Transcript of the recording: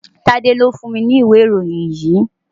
Tade ni ó fún mi ní ìwé ìròyìn yìí.